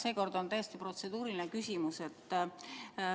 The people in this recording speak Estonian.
Seekord on täiesti protseduuriline küsimus.